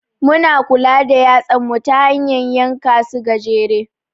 Muna kula da yatsan mu ta hanyan yanka su gajere.